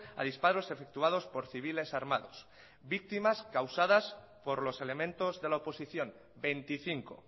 a disparos efectuados por civiles armados víctimas causadas por los elementos de la oposición veinticinco